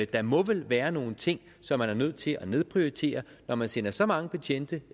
der må vel være nogle ting som man er nødt til at nedprioritere når man sender så mange betjente